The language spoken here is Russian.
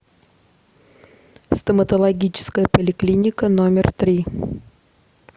стоматологическая поликлиника номер три